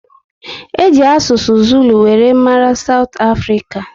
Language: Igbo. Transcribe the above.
Eji asụsụ Zulu were mara south africa